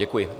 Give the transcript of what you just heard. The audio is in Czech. Děkuji.